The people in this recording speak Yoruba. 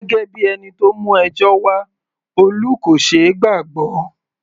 Gẹ́gẹ́ bíi ẹni tó mú ẹjọ́ wá, Olú kò ṣeé gbàgbọ́.